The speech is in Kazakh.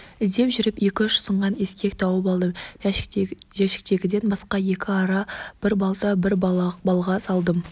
іздеп жүріп екі-үш сынған ескек тауып алдым жәшіктегіден басқа екі ара бір балта бір балға алдым